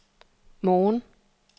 morgen